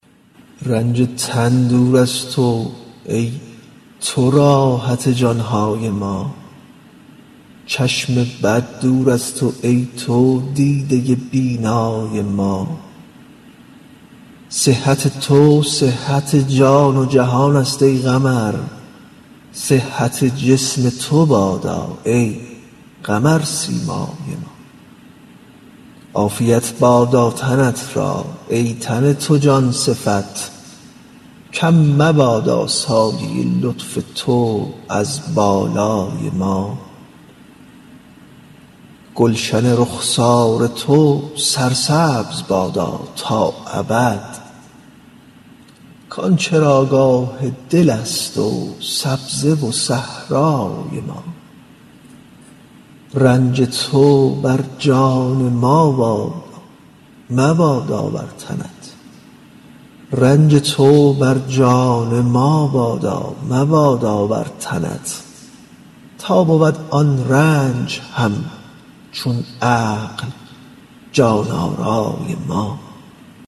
رنج تن دور از تو ای تو راحت جان های ما چشم بد دور از تو ای تو دیده بینای ما صحت تو صحت جان و جهانست ای قمر صحت جسم تو بادا ای قمرسیمای ما عافیت بادا تنت را ای تن تو جان صفت کم مبادا سایه لطف تو از بالای ما گلشن رخسار تو سرسبز بادا تا ابد کان چراگاه دلست و سبزه و صحرای ما رنج تو بر جان ما بادا مبادا بر تنت تا بود آن رنج همچون عقل جان آرای ما